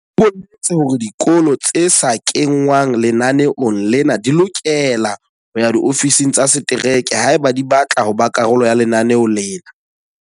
O boletse hore dikolo tse sa kengwang lenaneong lena di lokela ho ya diofising tsa setereke haeba di batla ho ba karolo ya lenaneo lena.